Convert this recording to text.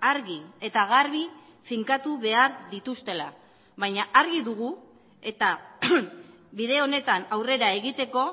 argi eta garbi finkatu behar dituztela baina argi dugu eta bide honetan aurrera egiteko